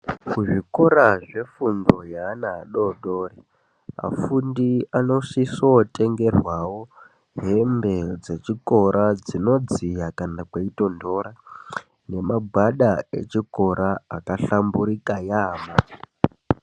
Kuzvikora zvefundo yeana adodori afundi anosiso tengerwawo hembe dzechikora dzinodziya kana kweitondora nemagwada echikora akahlamburika yaambo.